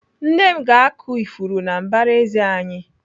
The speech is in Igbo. Nne m ga-akụ ifuru na mbaraezi anyị.